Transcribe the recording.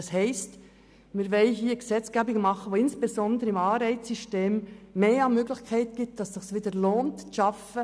Wir wollen also eine Gesetzgebung, die insbesondere über das Anreizsystem mehrere Möglichkeiten bietet, damit es sich wieder zu arbeiten lohnt.